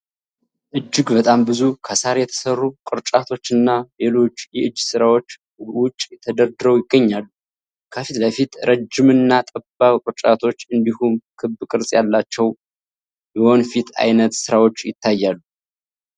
እጅግ በጣም ብዙ ከሳር የተሠሩ ቅርጫቶችና ሌሎች የእጅ ሥራዎች ውጭ ተደርድረው ይገኛሉ። ከፊት ለፊት ረጅምና ጠባብ ቅርጫቶች እንዲሁም ክብ ቅርጽ ያላቸው የወንፊት ዓይነት ሥራዎች ይታያሉ።